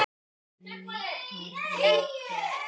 Kvikar líkur.